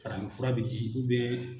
Farafinfura bɛ di